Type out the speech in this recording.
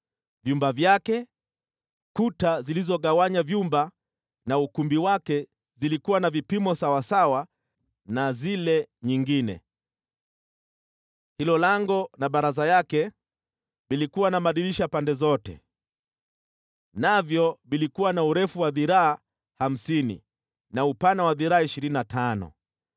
Vyumba vyake, kuta zilizogawanya vyumba na ukumbi wake zilikuwa na vipimo sawasawa na zile nyingine. Hilo lango na baraza yake vilikuwa na madirisha pande zote. Navyo vilikuwa na urefu wa dhiraa hamsini na upana wa dhiraa ishirini na tano.